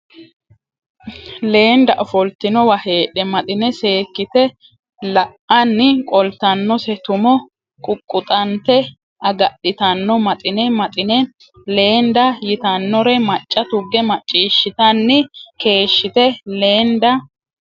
Leenda ofoltinowa heedhe Maxine seekkite la anni qoltannose tumo quqquxante agadhitanno Maxine Maxine Leenda yitannore macca tugge macciishshitanni keeshshite Leenda !